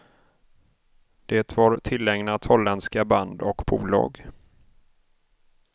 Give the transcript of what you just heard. Det var tillägnat holländska band och bolag.